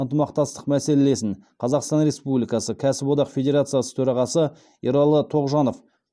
ынтымақтастық мәселелесін қазақстан республикасы кәсіподақ федерациясы төрағасы ералы тоғжанов